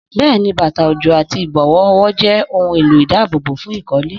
Bẹ́ẹ̀ni, bàtà òjò àti ìbọ̀wọ́ ọwọ́ jẹ́ ohun èlò ìdáàbòbò fún ìkọ́lé.